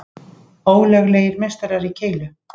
Ólöglegir meistarar í keilu